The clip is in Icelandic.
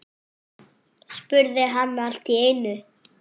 spurði hann allt í einu.